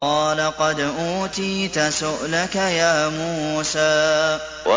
قَالَ قَدْ أُوتِيتَ سُؤْلَكَ يَا مُوسَىٰ